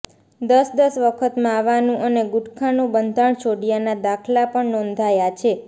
દસ દસ વખત માવાનું અને ગુટખાનું બંધાણ છોડ્યાના દાખલા પણ નોંધાયા છે